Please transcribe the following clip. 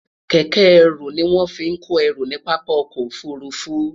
kéké eru ni won fi ko eru ni papa ọkọ ofurufu